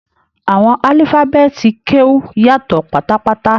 Àwọn alifabeeti Keu yàtọ pátápátá.